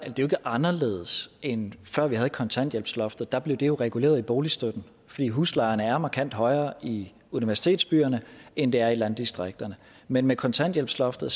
anderledes end før vi havde kontanthjælpsloftet der blev det jo reguleret i boligstøtten fordi huslejerne er markant højere i universitetsbyerne end de er i landdistrikterne men med kontanthjælpsloftet